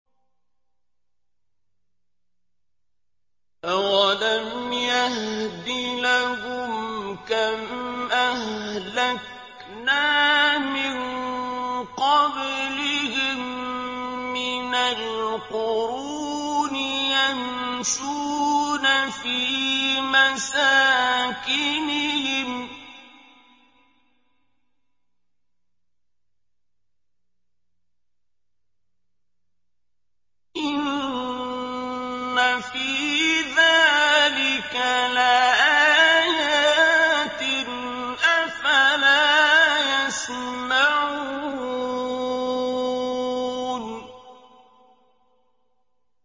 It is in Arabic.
أَوَلَمْ يَهْدِ لَهُمْ كَمْ أَهْلَكْنَا مِن قَبْلِهِم مِّنَ الْقُرُونِ يَمْشُونَ فِي مَسَاكِنِهِمْ ۚ إِنَّ فِي ذَٰلِكَ لَآيَاتٍ ۖ أَفَلَا يَسْمَعُونَ